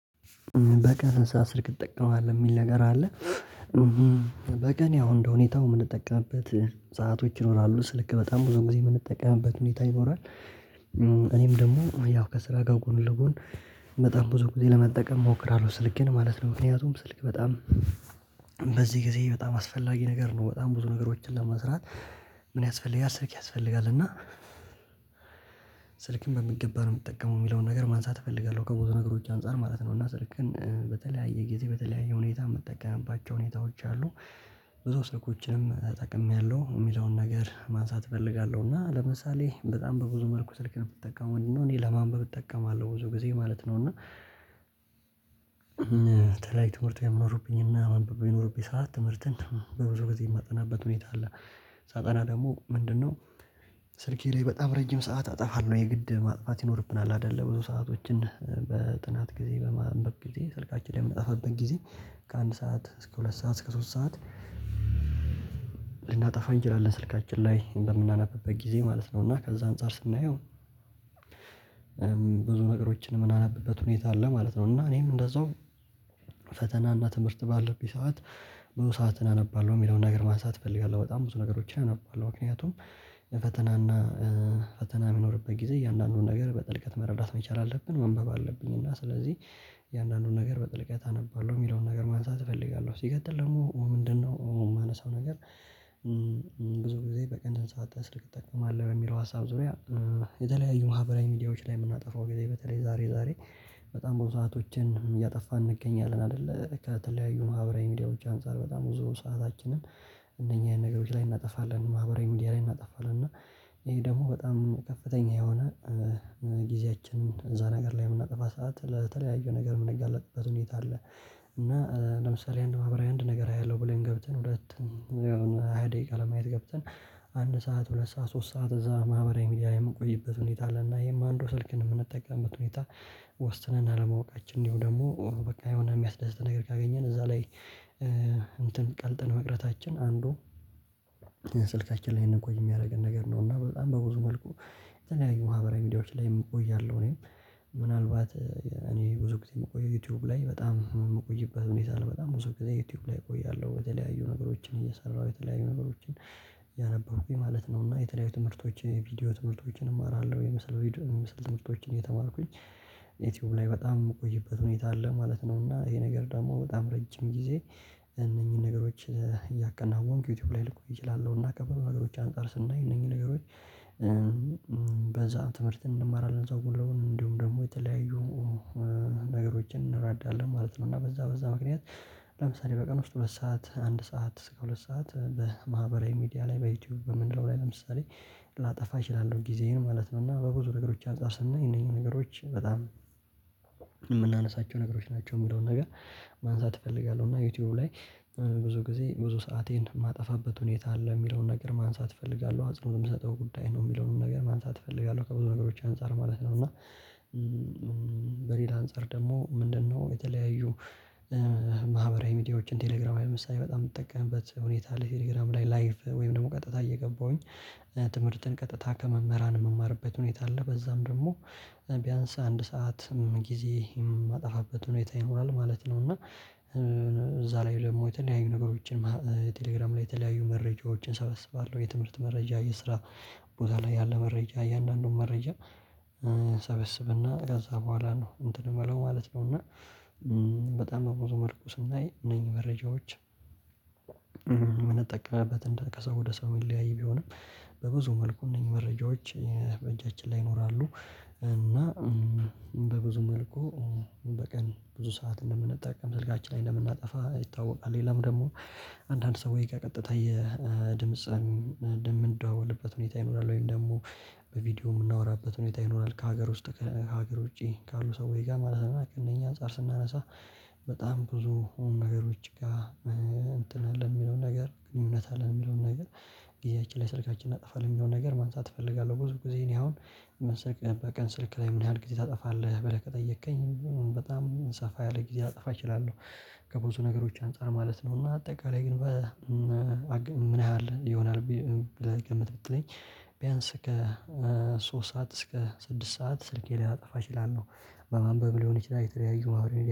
በቀን ስንት ሰዓት ስልክ ትጠቀማለህ የሚል ነገር አለ? በቀን ያው እንደሁኔታው የምንጠቀምበት ሰአቶች ይኖራሉ ስልክ በጣም ብዙ ጊዜ የምንጠቀምበት ሁኔታ ይኖራል። እኔም ደግሞ ያው ከስራ ጋር ጎን ለጎን በጣም ብዙ ጊዜ ለመጠቀም እሞክራለሁ ስልኬን ማለት ነው። ምክንያቱም ስልክ በጣም በዚህ ጊዜ በጣም አስፈላጊ ነገር ነው በጣም ብዙ ነገሮችን ለመስራት ምን ያስፈልጋል ስልክ ያስፈልጋል። እና ስልክን በሚገባ ነው የምጠቀመው የሚለውን ነገር ማንሳት እፈልጋለሁ። ከብዙ ነገሮች አንፃር ማለት ነው እና ስልክን በተለያየ ጊዜ በተለያየ ሁኔታ የምጠቀምባቸው ሁኔታዎች አሉ። ብዙ ስልኮችንም ተጠቅሜያለሁ የሚለውን ነገር ማንሳት እፈልጋለሁ እና ለምሳሌ በጣም በብዙ መልኩ ስልክን የምጠቀመው እና እኔ ለማንበብ እጠቀማለሁ ብዙ ጊዜ ማለት ነው። እና በተለይ ትምህርት የሚኖርብኝና ማንበብ በሚኖርብኝ ሰዓት ትምህርትን በብዙ ጊዜ የማጠናበት ሁኔታ አለ። ሳጠና ደግሞ ምንድነው? ስልኬ ላይ በጣም ረጅም ሰዓት አጠፋለሁ የግድ ማጥፋት ይኖርብናል አይደለ ብዙ ሰአቶችን በጥናት ጊዜ በማንበብ ጊዜ ስልካችን ላይ የምንጠፋበት ጊዜ ከአንድ ሰዓት እስከ ሁለት ሰዓት እስከ ሶስት ሰዓት ልናጠፋ እንችላለን ስልካችን ላይ በምናነብበት ጊዜ ማለት ነው። እና ከዛ አንፃር ስናየው ብዙ ነገሮችን ምናነብበት ሁኔታ አለ ማለት ነው። እና እኔም እንደዛው ፈተናና ትምህርት ባለብኝ ሰዓት ብዙ ሰዓትን አነባለሁ የሚለውን ነገር ማንሳት እፈልጋለሁ በጣም ብዙ ነገሮች አነባለሁ። ምክንያቱም የፈተና እና ፈተና በሚኖርበት ጊዜ እያንዳንዱን ነገር በጥልቀት መረዳት መቻል አለብን መንበብ አለብኝ እና ስለዚህ እያንዳንዱን ነገር በጥልቀት አነባለሁ የሚለውን ነገር ማንሳት እፈልጋለሁ። ሲቀጥል ደግሞ ምንድነው? የማነሳው ነገር ብዙ ጊዜ በቀን ስንት ሰዓት ስልክ እጠቀማለሁ የሚለው ሀሳብ ዙሪያ የተለያዩ ማህበራዊ ሚዲያዎች ላይ የምናጠፋው ጊዜ በተለይ ዛሬ ዛሬ በጣም ብዙ ሰአቶችን እያጠፋን እንገኛለን። አይደለ ከተለያዩ ማህበራዊ ሚዲያዎች አንፃር በጣም ብዙ ሰአታችንን እነኚህን ነገሮች ላይ እናጠፋለን ማህበራዊ ሚዲያ ላይ እናጠፋለን እና ይሄ ደግሞ በጣም ከፍተኛ የሆነ ጊዜያችንን እዛ ነገር ላይ የምናጠፋ ሰዓት ለተለያዩ ነገር የምንጋለጥበት ሁኔታ አለ። እና ለምሳሌ አንድ ማህበራዊ አንድ ነገር አያለሁ ብለን ገብተን ሁለት ያው ሃያ ደቂቃ ለማየት ገብተን አንድ ሰዓት ሁለት ሰዓት ሶስት ሰዓት እዛ ማህበራዊ ሚዲያ ላይ የምንቆይበት ሁኔታ አለና ይሄም አንዱ ስልክን የምንጠቀምበት ሁኔታ ወስነን አለማወቃችን እንዲሁ ደግሞ በቃ የሆነ የሚያስደስተን ነገር ካገኘን እዛ ላይ እንትን ቀልጥን መቅረታችን አንዱ ስልካችን ላይ እድንቆይ የሚያደርገን ነገር ነው። እና በጣም በብዙ መልኩ የተለያዩ ማህበራዊ ሚዲያዎች ላይ እቆያለሁ እኔም ምናልባት እኔ ብዙ ጊዜ የምቆየው ዩቲዩብ ላይ በጣም የምቆይበት ሁኔታ አለ በጣም ብዙ ጊዜ ዩቲዩብ ላይ እቆያለሁ። የተለያዩ ነገሮችን እየሰራሁ የተለያዩ ነገሮችን ያ ነበረኩኝ ማለት ነው እና የተለያዩ ትምህርቶች የቪዲዮ ትምህርቶችን እማራለሁ የምስል ቪድዮ የምስል ትምህርቶችን እየተማርኩኝ ዩቲዩብ ላይ በጣም የምቆይበት ሁኔታ አለ ማለት ነው። እና ይሄ ነገር ደግሞ በጣም ረጅም ጊዜ እነኚህን ነገሮች እያከናወንኩ ዩቲዩብ ላይ ልቆይ እችላለሁ። እና ከብዙ ነገሮች አንፃር ስናይ እነኚህ ነገሮች በዛ ትምህርት እንማራለን እዛው ጎን ለጎን እንዲሁ ደግሞ የተለያዩ ነገሮችን እንረዳለን ማለት ነው። እና በዛ በዛ ምክንያት ለምሳሌ በቀን ውስጥ በሰአት አንድ ሰዓት እስከ ሁለት ሰዓት በማህበራዊ ሚዲያ ላይ በዩቲዩብ በምንለው ላይ ለምሳሌ ላጠፋ እችላለሁ ጊዜዬን ማለት ነው። እና በብዙ ነገሮች አንፃር ስናይ እነኚህ ነገሮች በጣም የምናነሳቸው ነገሮች ናቸው። የሚለውን ነገር ማንሳት እፈልጋለሁ እና ዩቲዩብ ላይ ብዙ ጊዜ ብዙ ሰአቴን የማጠፋበት ሁኔታ አለ የሚለውን ነገር ማንሳት እፈልጋለሁ አጽንኦት የምሰጠው ጉዳይ ነው የሚለውንም ነገር ማንሳት እፈልጋለሁ ከብዙ ነገሮች አንፃር ማለት ነው። እና በሌላ አንፃር ደግሞ ምንድነው? የተለያዩ ማህበራዊ ሚዲያዎችን ቴሌግራም ላይ ለምሳሌ በጣም የምጠቀምበት ሁኔታ ቴሌግራም ላይ ላይቭ ወይም ደግሞ ቀጥታ እየገባሁኝ ትምህርትን ቀጥታ ከመምህራን የምማርበት ሁኔታ አለ በዛም ደግሞ ቢያንስ አንድ ሰዓት ጊዜ የማጠፋበት ሁኔታ ይኖራል ማለት ነው። እና እዛ ላይቭ ደግሞ የተለያዩ ነገሮችን ቴሌግራም ላይ የተለያዩ መረጃዎችን ሰበስባለሁ የትምህርት መረጃ የስራ ቦታ ላይ ያለ መረጃ እያንዳንዱን መረጃ ሰበስብና ከዛ በኋላ ነው እንትን የምለው ማለት ነው። እና በጣም በብዙ መልኩ ስናይ እነኚህ መረጃዎች የምንጠቀመበት እንደ ከሰው ወደ ሰው የሚለያይ ቢሆንም በብዙ መልኩ እነኚህ መረጃዎች በእጃችን ላይ ይኖራሉ። እና በብዙ መልኩ በቀን ብዙ ሰዓት እንደምንጠቀም ስልካችን ላይ እንደምናጠፋ ይታወቃል። ሌላም ደግሞ አንዳንድ ሰው ከቀጥታ የድምጽን የምንደዋወልበት ሁኔታ ይኖራል ወይም ደግሞ በቪዲዮ የምናወራበት ሁኔታ ይኖራል። ከሀገር ውስጥ ከሀገር ውጪ ካሉ ሰዎች ጋር ማለት ነው። ቀነኚህ አንፃር ስናነሳ በጣም ብዙ ነገሮች ጋር እንትን አለ የሚለውን ነገር ግን እውነት አለ የሚለውን ነገር ጊዜያችን ላይ ስልካችንን አናጠፋለን የሚለውን ነገር ማንሳት እፈልጋለሁ። ብዙ ጊዜ እኔ አሁን በቀን ስልክ ላይ ምን ያህል ጊዜ ታጠፋለህ? ብለህ ከጠየቅከኝ በጣም ሰፋ ያለ ጊዜ ላጠፋ እችላለሁ ከብዙ ነገሮች አንፃር ማለት ነው። እና አጠቃላይ ግን ምን ይህል ይሆናል ብለህ ገምት ብትለኝ ቢያንስ ከሶስት ሰዓት እስከ ስድስት ሰዓት ስልኬ ላይ ላጠፋ እችላለሁ። በማንበብ ሊሆን ይችላል የተለያዩ ማህበራዊ